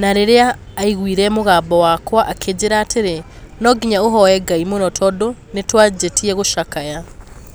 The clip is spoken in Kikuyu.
na rĩrĩa aiguire mũgambo wakwa akĩnjĩĩra atĩrĩ, 'No nginya ũhooe Ngai mũno tondũ nĩtwanjĩtie gũcakaya